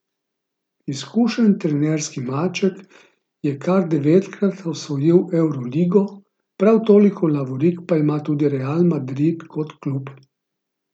Izkušeni trenerski maček je kar devetkrat osvojil Evroligo, prav toliko lovorik pa ima tudi Real Madrid kot klub.